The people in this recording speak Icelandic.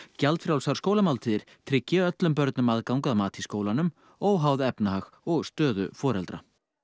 gjaldfrjálsar skólamáltíðir tryggi öllum börnum aðgang að mat í skólanum óháð efnahag og stöðu foreldra